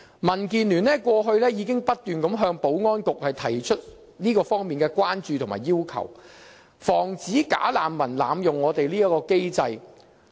民建聯過去已不斷向保安局提出這方面的關注和要求，防止"假難民"濫用我們這項機制。